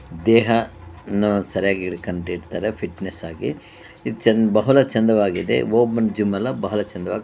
ದೇಹ ಅನ್ನು ಸರಿಯಾಗಿ ಇಟ್ಕೊಂಡಿರ್ತಾರೆ ಫಿಟ್ನೆಸ್ ಆಗಿ ಇದು ಬಹಳ ಚಂದವಾಗಿದೆ ಓಪನ್ ಜಿಮ್ ಎಲ್ಲ ಬಹಳ ಚಂದವಾಗಿ ಇದೆ ಓಪನ್ ಜಿಮ್ ಅಲ್ಲವಾ ಬಹಳ ಚಂದವಾಗಿದೆ.